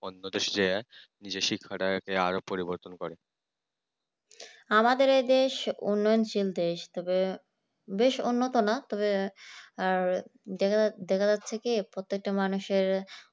অন্য দেশকে শিক্ষাটা আরো পরিবর্তন করে